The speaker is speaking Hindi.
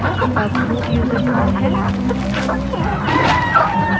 अब root यूज़र कौन है